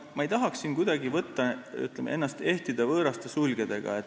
Ma ei tahaks siin kuidagi ehtida ennast võõraste sulgedega.